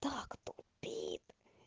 так тупит